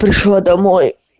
пришла домой